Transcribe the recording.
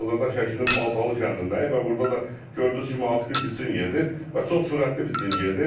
Biz hazırda Şəkinin Baltalı kəndindəyik və burda da gördüyünüz kimi aktiv biçin gedir və çox sürətli biçin gedir.